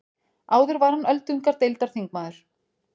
Áður var hann öldungadeildarþingmaður